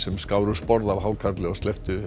skáru sporð af hákarli og slepptu